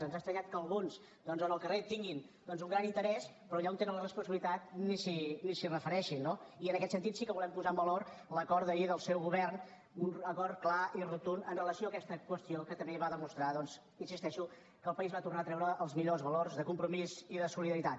ens ha estranyat que alguns doncs en el carrer tinguin doncs un gran interès però allà on tenen la responsabilitat ni s’hi refereixin no i en aquest sentit sí que volem posar en valor l’acord d’ahir del seu govern un acord clar i rotund amb relació a aquesta qüestió que també va demostrar doncs hi insisteixo que el país va tornar a treure els millors valors de compromís i de solidaritat